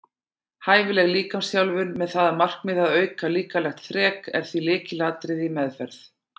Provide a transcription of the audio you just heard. Hæfileg líkamsþjálfun með það að markmiði að auka líkamlegt þrek er því lykilatriði í meðferð.